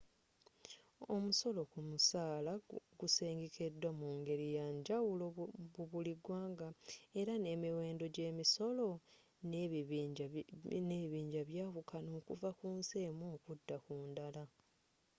omusolo ku musaala gusengekeddwa mu ngeri yanjawulo mu buli gwanga era n'emiwendo gy'emisolo n'ebibinja byawukana okuva ku nsi emu okudda ku ndala